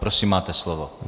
Prosím, máte slovo.